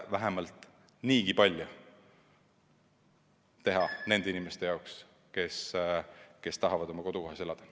Vähemalt niigi palju võiksime teha nende inimeste jaoks, kes tahavad oma kodukohas elada.